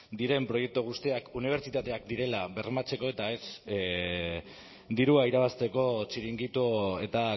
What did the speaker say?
diren proiektu guztiak unibertsitateak direla bermatzeko eta ez dirua irabazteko txiringito eta